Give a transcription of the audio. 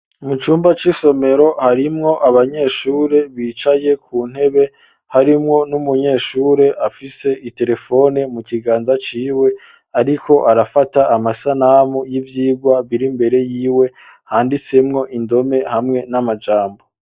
Mu cumba c'isomero harimwo abanyeshure bicaye ku ntebe, harimwo n'umunyeshure afise iterefone mu kiganza ciwe, ariko arafata amasanamu y'ivyigwa biri imbere yiwe, handitsemwo indome hamwe n'amajambo.